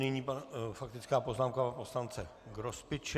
Nyní faktická poznámka pana poslance Grospiče.